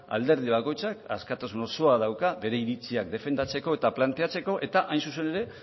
alderdi bakoitzak askatasun osoa dauka bere iritziak defendatzeko eta planteatzen eta hain zuzen ere